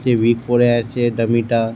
সে week পরে আছে। একটা মেয়েটা--